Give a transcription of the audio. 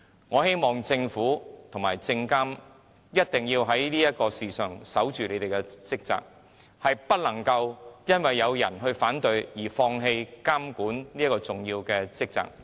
我希望政府和證監會一定要在這件事上謹守崗位，不能因有人反對便放棄如此重要的監管職責。